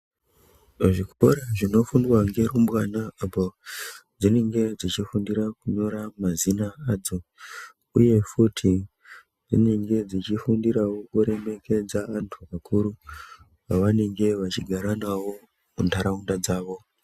Pazvikora zvinofundwa ngerumbwana apodzinenge dzichifundira kunyora mazina adzo, uye futi padzinenge dzichifundiravo kuremekedza antu akuru. Pavanenge vachigara navo munharaunda dzavo.